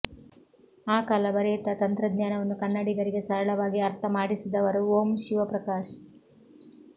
ಆ ಕಾಲ ಬರೆಯುತ್ತಾ ತಂತ್ರಜ್ಞಾನವನ್ನು ಕನ್ನಡಿಗರಿಗೆ ಸರಳವಾಗಿ ಅರ್ಥ ಮಾಡಿಸಿದವರು ಓಂ ಶಿವಪ್ರಕಾಶ್